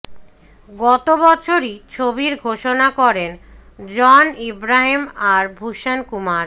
গত বছরই ছবির ঘোষণা করেন জন আব্রাহাম এবং ভূষণ কুমার